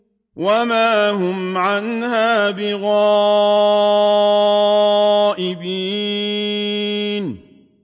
وَمَا هُمْ عَنْهَا بِغَائِبِينَ